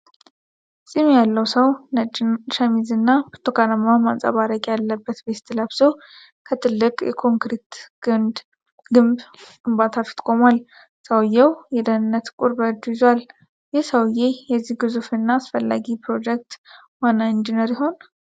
ፂም ያለው ሰው ነጭ ሸሚዝና ብርቱካናማ ማንጸባረቂያ ያለበት ቬስት ለብሶ ከትልቅ የኮንክሪት ግድብ ግንባታ ፊት ቆሟል። ሰውዬው የደህንነት ቁር በእጁ ይዟል። ይህ ሰውዬ የዚህ ግዙፍ እና አስፈላጊ ፕሮጀክት ዋና ኢንጂነር ይሆን?